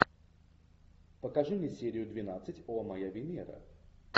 покажи мне серию двенадцать о моя венера